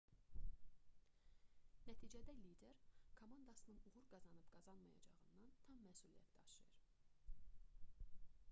nəticədə lider komandasının uğur qazanıb-qazanmayacağından tam məsuliyyət daşıyır